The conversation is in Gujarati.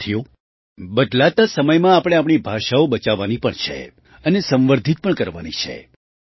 સાથીઓ બદલતા સમયમાં આપણે આપણી ભાષાઓ બચાવવાની પણ છે અને સંવર્ધિત પણ કરવાની છે